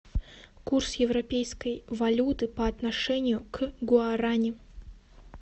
курс европеской валюты по отношению к гуарани